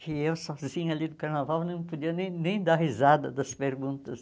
que eu sozinha ali do carnaval não podia nem nem dar risada das perguntas.